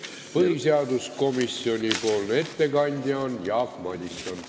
Põhiseaduskomisjoni ettekandja on Jaak Madison.